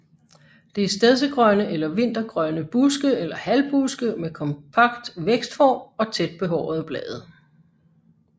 Det er stedsegrønne eller vintergrønne buske eller halvbuske med kompakt vækstform og tæt behårede blade